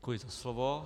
Děkuji za slovo.